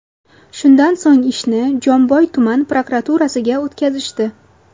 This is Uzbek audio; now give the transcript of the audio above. Shundan so‘ng ishni Jomboy tuman prokuraturasiga o‘tkazishdi.